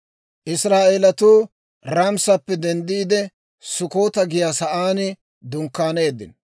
Israa'eelatuu Raamisappe denddiide, Sukkota giyaa sa'aan dunkkaaneeddino.